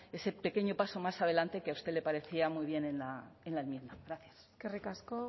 ese pequeño paso más adelante que a usted le parecía muy bien en la enmienda gracias eskerrik asko